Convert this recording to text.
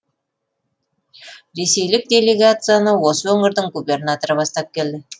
ресейлік делегацияны осы өңірдің губернаторы бастап келді